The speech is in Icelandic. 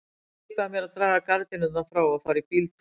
Hann skipaði mér að draga gardínurnar frá og fara í bíltúr.